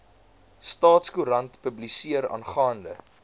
staatskoerant publiseer aangaande